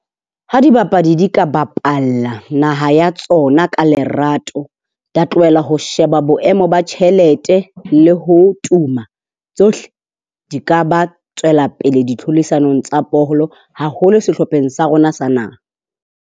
Ha dibapadi, di ka bapala naha ya tsona ka lerato, la tlohela ho sheba boemo ba tjhelete le ho tuma. Tsohle di ka ba tswela pele ditlhodisanong tsa bolo, haholo sehlopheng sa rona sa naha.